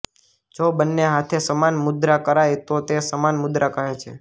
જો બંને હાથે સમાન મુદ્રા કરાય તો તે સમાન મુદ્રા કહે છે